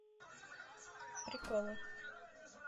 приколы